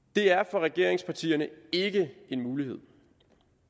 for regeringspartierne er det ikke en mulighed